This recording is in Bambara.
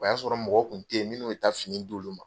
O y'a sɔrɔ mɔgɔ kun te yen, minnu bi taa fini di olu ma.